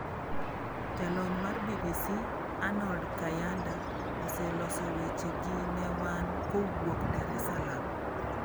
Jalony mar BBC Arnold Kayanda oseloso weche gi ne wan kowuok Dar es Salaam.